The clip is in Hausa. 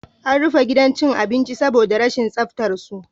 An rufe gidan cin abincin saboda rashin tsaftar su